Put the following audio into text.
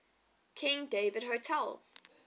king david hotel